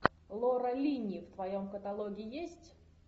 лора линни в твоем каталоге есть